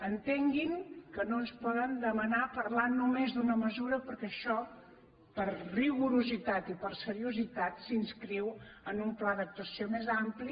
entenguin que no ens poden demanar parlar només d’una mesura perquè això per rigorositat i per seriositat s’inscriu en un pla d’actuació més ampli